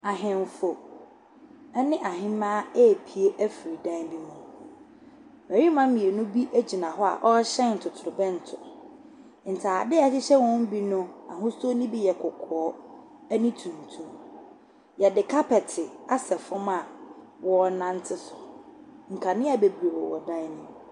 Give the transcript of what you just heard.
Ahemfo ne ahemmaa repie afiri dan bi mu. Mmarima mmienu bi gyina hɔ a wɔrehyɛ totorobɛnto. Ntadeɛ a ɛhyehyɛ wɔn mu bi no, ahusuo no bi yɛ kɔkɔɔ ne tuntum. Wɔde kapɛte asɛ fam a wɔrenante so. Nkanea bebree wɔn dan no mu.